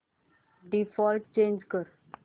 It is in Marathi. डिफॉल्ट चेंज कर